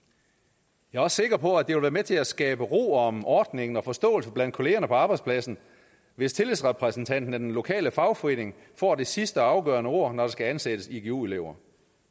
jeg er også sikker på at det vil være med til at skabe ro om ordningen og forståelse blandt kollegerne på arbejdspladsen hvis tillidsrepræsentanten og den lokale fagforening får det sidste og afgørende ord når der skal ansættes igu elever